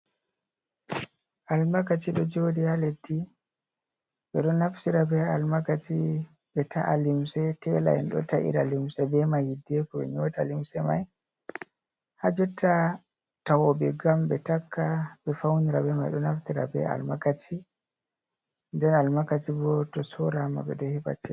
Almakashi ɗo joɗi ha leddi ɓeɗo naftira be almakashi ɓe ta’a limse tela en ɗo ta'ira limse be mai hiddeko ɓe nyota limse mai ha jotta tawoɓe gam ɓe takka ɓe fauna be mai ɗo naftira be almakashi nden almakashi bo to sora ma ɓeɗo heɓa chede.